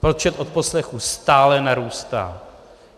Počet odposlechů stále narůstá.